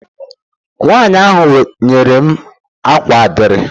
Nwanyi ahụ nyere m akwa adire.